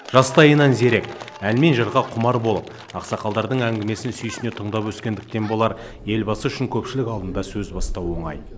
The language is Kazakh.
жастайынан зерек ән мен жырға құмар болып ақсақалдардың әңгімесін сүйсіне тыңдап өскендіктен болар елбасы үшін көпшілік алдында сөз бастау оңай